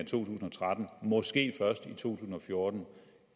tusind og tretten måske først i to tusind og fjorten